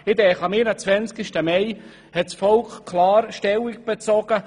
Das Volk hat am 21. Mai in dieser Hinsicht klar Stellung bezogen.